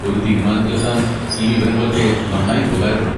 ഒരു തീരുമാനത്തിലെത്താൻ ഈ വിവരങ്ങളൊക്കെ നന്നായി ഉപകാരപ്പെടും.